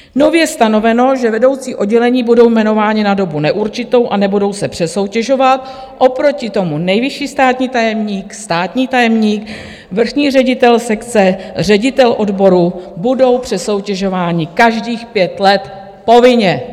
Nově stanoveno, že vedoucí oddělení budou jmenováni na dobu neurčitou a nebudou se přesoutěžovat, oproti tomu nejvyšší státní tajemník, státní tajemník, vrchní ředitel sekce, ředitel odboru budou přesoutěžováni každých 5 let povinně.